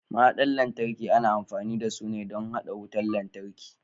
Mahaɗar lantarki ana amfani dasu ne don haɗa wutar lantarki